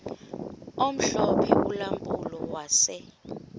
omhlophe ulampulo wase